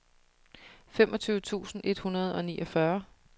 femogtyve tusind et hundrede og niogfyrre